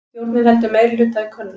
Stjórnin heldur meirihluta í könnun